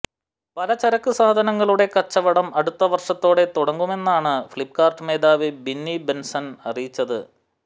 പലചരക്ക് സാധനങ്ങളുടെ കച്ചവടം അടുത്തവർഷത്തോടെ തുടങ്ങുമെന്നാണ് ഫ്ലിപ്പ്കാര്ട്ട് മേധാവി ബിന്നി ബൻസൽ അറിയിച്ചത്